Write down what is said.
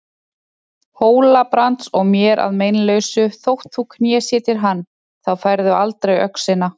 Hóla-Brands og mér að meinalausu þótt þú knésetjir hann, þá færðu aldrei öxina.